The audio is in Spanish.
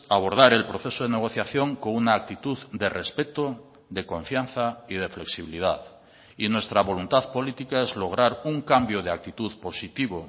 abordar el proceso de negociación con una actitud de respeto de confianza y de flexibilidad y nuestra voluntad política es lograr un cambio de actitud positivo